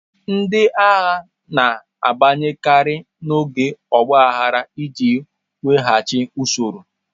Ndị agha na-abanyekarị n'oge ọgba aghara iji weghachi usoro.